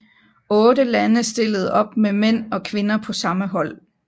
Otte lande stillede op med mænd og kvinder på samme hold